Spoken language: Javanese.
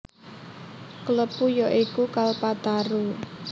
Klepu ya iku Kalpataru